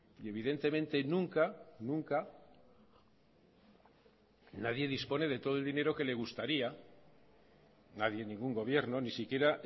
y evidentemente nunca nunca nadie dispone de todo el dinero que le gustaría nadie ningún gobierno ni siquiera